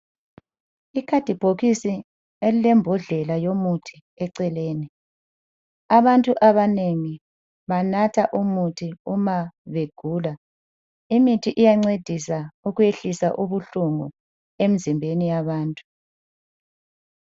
Ikhadibhokisi elilembodlela yomuthi eceleni. Abantu abanengi banatha umuthi umabegula. Imithi iyancedisa ukuyehlisa ubuhlungu emzimbeni yabantu.